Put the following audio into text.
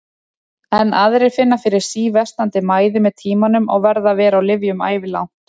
Enn aðrir finna fyrir síversnandi mæði með tímanum og verða að vera á lyfjum ævilangt.